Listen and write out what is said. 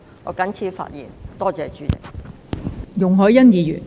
我謹此陳辭，多謝代理主席。